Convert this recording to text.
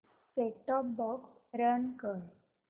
set top box run कर